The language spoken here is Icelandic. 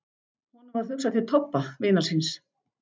Honum varð hugsað til Tobba, vinar síns.